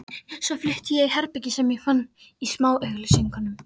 Svo flutti ég í herbergi sem ég fann í smáauglýsingunum.